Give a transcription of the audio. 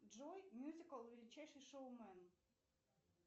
джой мюзикл величайший шоумен